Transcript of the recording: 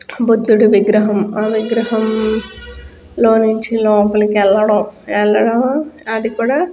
బుధుడి విగ్రహం ఆ విగ్రహం లోనుంచి లోపలకి వెల్లడం వెల్లడం అది కూడా --